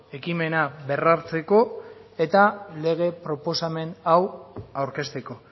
ekimena berrartzeko eta lege proposamen hau aurkezteko